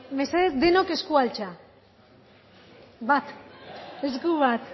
mesedez denok eskua altxa bat esku bat